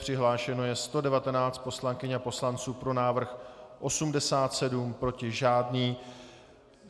Přihlášeno je 119 poslankyň a poslanců, pro návrh 87, proti žádný.